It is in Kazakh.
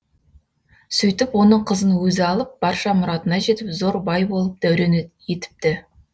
сөйтіп оның қызын өзі алып барша мұратына жетіп зор бай болып дәурен етіпті